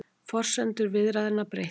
Forsendur viðræðna breyttar